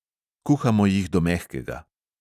Kuhamo jih do mehkega.